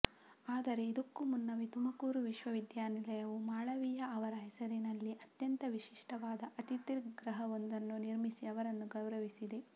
ಆದರೆ ಇದಕ್ಕೂ ಮುನ್ನವೇ ತುಮಕೂರು ವಿಶ್ವವಿದ್ಯಾನಿಲಯವು ಮಾಳವೀಯ ಅವರ ಹೆಸರಿನಲ್ಲಿ ಅತ್ಯಂತ ವಿಶಿಷ್ಟವಾದ ಅತಿಥಿಗೃಹವೊಂದನ್ನು ನಿರ್ಮಿಸಿ ಅವರನ್ನು ಗೌರವಿಸಿದೆ